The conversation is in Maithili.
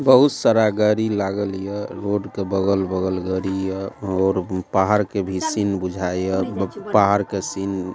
बहुत सारा गाड़ी लागल ये रोड के बगल बगल गाड़ी ये और पहाड़ के भी सीन बुझाए ये बक पहाड़ के सीन --